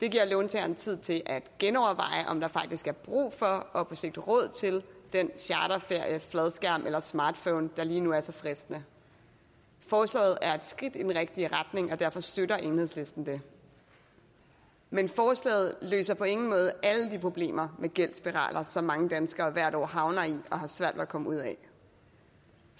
det giver låntageren tid til at genoverveje om der faktisk er brug for og på sigt råd til den charterferie fladskærm eller smartphone der lige nu er så fristende forslaget er et skridt i den rigtige retning og derfor støtter enhedslisten det men forslaget løser på ingen måde alle de problemer med gældsspiraler som mange danskere hvert år havner i og har svært ved at komme ud af